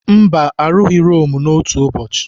Mba arụghị Rome n'otu ụbọchị.